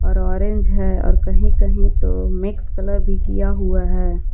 और ऑरेंज है और कहीं कहीं तो मिक्स कलर भी किया हुआ है।